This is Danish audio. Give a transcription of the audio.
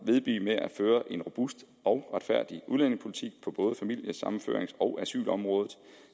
vedblive med at føre en robust og retfærdig udlændingepolitik på både familiesammenførings og asylområdet